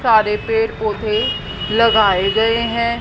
सारे पेड़ पौधे लगाए गए हैं।